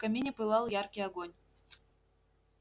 в камине пылал яркий огонь